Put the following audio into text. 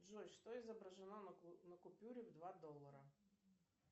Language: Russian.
джой что изображено на купюре в два доллара